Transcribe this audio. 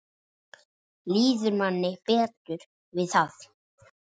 Líður manni betur við það?